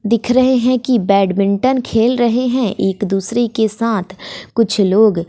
दिख रहे हैं कि बैडमिंटन खेल रहे हैं एक दूसरे के साथ कुछ लोग।